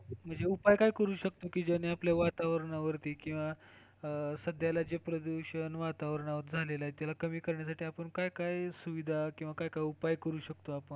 म्हणजे उपाय काय करू शकतो की, ज्याने आपले वातावरणावरती किंवा सध्याला जे प्रदूषण वातावरणावर झालेलं आहे त्याला कमी करण्यासाठी आपण काय काय सुविधा किंवा काय काय उपाय करू शकतो आपण?